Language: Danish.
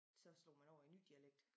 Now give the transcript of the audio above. Så slog man over i en ny dialekt